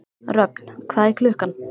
Röfn, hvað er klukkan?